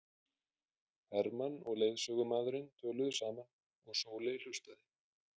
Hermann og leiðsögumaðurinn töluðu saman og Sóley hlustaði.